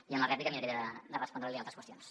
i en la rèplica miraré de respondre li altres qüestions